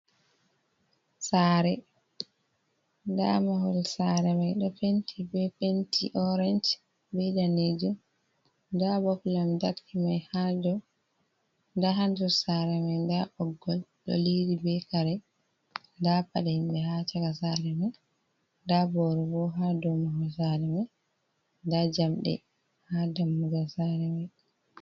Sare, nda mahol sare mai ɗo penti be penti orange be danejum, nda bop lamtarki mai ha dow, nda ha ndir sare mai nda ɓoggol ɗo liri be kare, nda paɗa himɓe ha chaka sare mai, nda boro bo ha dow mahol sare mai, nda jamɗe ha dammugal sare mai.